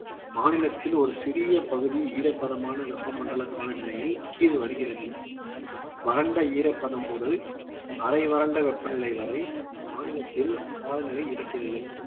மாநிலத்தின் ஒரு சிறிய பகுதி ஈரப்பதமான வெப்பமண்டல காலநிலையில் கீழ் வருகிறது வறண்ட ஈரப்பதம் முதல் அரை வறண்ட வெப்பநிலை வரை மாநிலத்தின் காலநிலை இருக்கிறது